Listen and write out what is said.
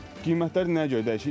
Qiymətlər nəyə görə dəyişir?